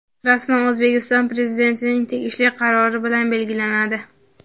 rasman O‘zbekiston Prezidentining tegishli qarori bilan belgilanadi.